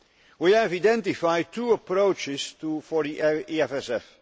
We have identified two approaches for the EFSF.